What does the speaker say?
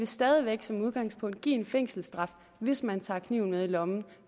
stadig væk som udgangspunkt vil give en fængselsstraf hvis man tager kniven med i lommen